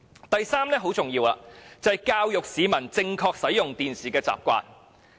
第三點很重要，就是教育市民正確使用電視機的習慣。